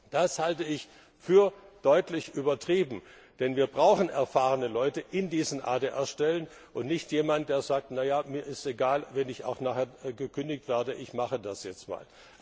Das halte ich für deutlich übertrieben, denn wir brauchen erfahrene Leute in diesen ADR Stellen, und nicht jemanden, der sagt Na ja, mir ist es egal, wenn ich auch nachher gekündigt werde, ich mache das jetzt mal.